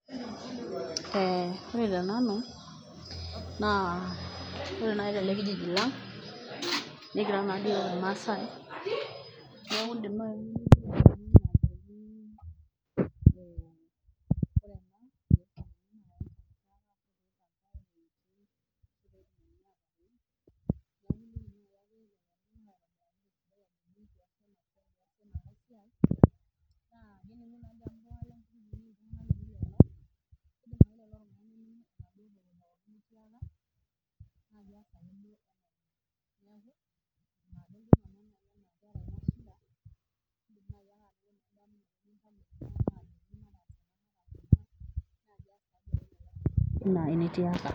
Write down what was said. Ee ore tenanu naa ore naaji tele kijiji lang'.ekira nadoi iyiook ilmaasai, neeku iidim naayi..